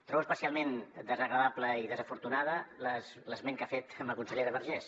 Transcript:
trobo especialment desagradable i desafortunat l’esment que ha fet de la consellera vergés